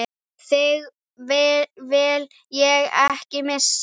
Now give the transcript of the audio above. Þig vil ég ekki missa.